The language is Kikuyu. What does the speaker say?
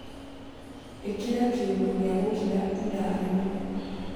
ĩkĩra kiundu gia gukira ĩthaa rĩmwe